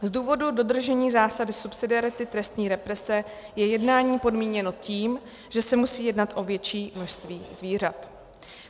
Z důvodu dodržení zásady subsidiarity trestní represe je jednání podmíněno tím, že se musí jednat o větší množství zvířat.